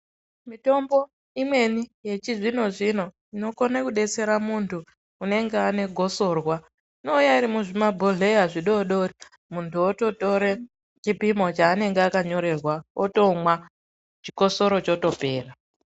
Mitombo imweni yechizvino zvino inokone kubetsera muntu unenga ane gosorwa inouya iri muzvimabhohleya zvidodori muntu ototore chipimo chaanenge akanyorerwa otomwa chikosoro chotopera.